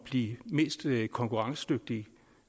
de mest konkurrencedygtige